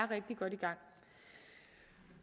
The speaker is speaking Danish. rigtig godt i gang